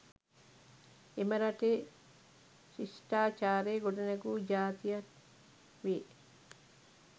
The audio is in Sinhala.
එම රටේ ශ්ෂ්ටචාරය ගොඩනැගු ජාතියට් වේ